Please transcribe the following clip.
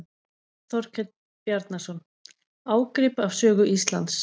Þorkell Bjarnason: Ágrip af sögu Íslands.